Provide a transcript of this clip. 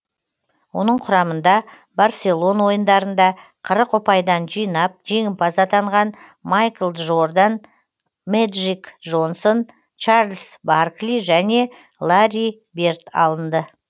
оның құрамында барселон ойындарында қырық ұпайдан жинап жеңімпаз атанған майкл джордан мэджик джонсон чарльз баркли және ларри берд алынды